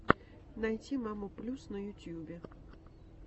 найти маму плюс на ютюбе